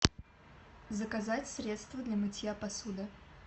заказать средство для мытья посуды